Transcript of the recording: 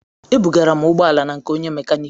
Ebugara m ụgbọ ala na nke onye mekaniki